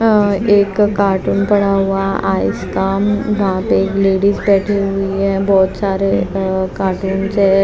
एक कार्टून पड़ा हुआ आइसकाम वहां पे लेडीज बैठी हुई है बहुत सारे कार्टूनस है।